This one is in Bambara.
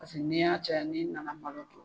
Paseke n'i y'a caya n'i nana malo kɛ